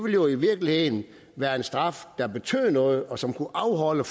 jo i virkeligheden være en straf der betød noget og som kunne afholde